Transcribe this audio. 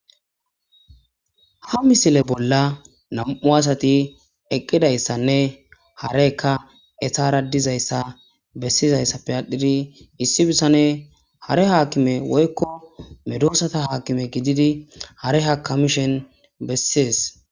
Ha misile bolla nam7u asati eqqidayssanne harekka esara dizayssa bessizayssappe adhidi issi bissane hare haakime woykko medoosata haakime gididi hare hakamishen bessees